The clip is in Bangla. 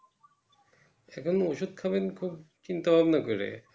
এখনও ওষুধ খাবেন চিন্তা ভাবনা করে